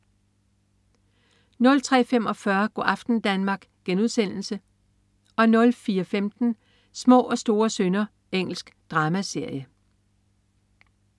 03.45 Go' aften Danmark* 04.15 Små og store synder. Engelsk dramaserie